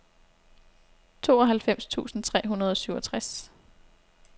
tooghalvfems tusind tre hundrede og syvogtres